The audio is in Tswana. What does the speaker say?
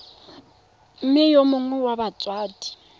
mme yo mongwe wa batsadi